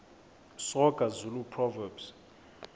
soga zulu proverbs